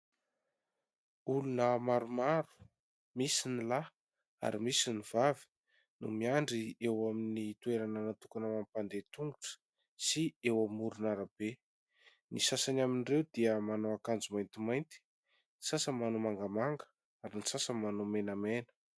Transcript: Olona maromaro, misy ny lahy ary misy ny vavy, no miandry eo amin'ny toerana natokana ho an'ny mpandeha tongotra sy eo amoron'arabe. Ny sasany amin'ireo dia manao akanjo maintimainty, ny sasany manao mangamanga, ary ny sasany manao menamena.